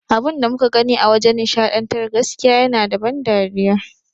Abunda muka gani a wajan nishaɗantar gaskiya yana da ban dariya